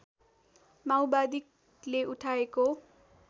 माओवादीले उठाएको